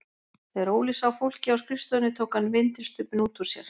Þegar Óli sá fólkið á skrifstofunni tók hann vindilstubbinn út úr sér.